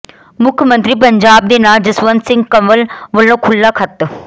ਮੁੱਖ ਮੰਤਰੀ ਪੰਜਾਬ ਦੇ ਨਾਂ ਜਸਵੰਤ ਸਿੰਘ ਕੰਵਲ ਵੱਲੋਂ ਖੁੱਲ੍ਹਾ ਖੱਤ